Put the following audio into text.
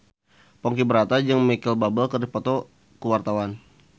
Ponky Brata jeung Micheal Bubble keur dipoto ku wartawan